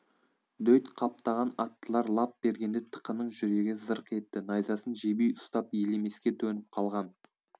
дөйт қаптаған аттылар лап бергенде тықының жүрегі зырқ етті найзасын жебей ұстап елемеске төніп қалған